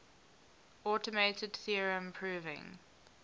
automated theorem proving